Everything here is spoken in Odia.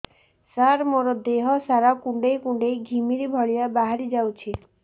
ସାର ମୋର ଦିହ ସାରା କୁଣ୍ଡେଇ କୁଣ୍ଡେଇ ଘିମିରି ଭଳିଆ ବାହାରି ଯାଉଛି